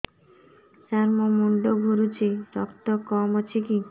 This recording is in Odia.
ସାର ମୋର ମୁଣ୍ଡ ଘୁରୁଛି ରକ୍ତ କମ ଅଛି କି